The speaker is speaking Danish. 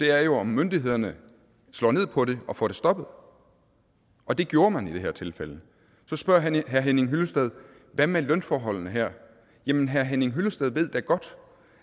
er jo om myndighederne slår ned på det og får det stoppet og det gjorde man i det her tilfælde så spørger herre henning hyllested hvad med lønforholdene her jamen herre henning hyllested ved da godt